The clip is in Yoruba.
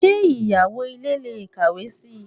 Ṣé ìyàwó ilé lè kàwé si?